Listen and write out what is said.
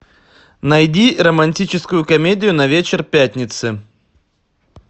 найди романтическую комедию на вечер пятницы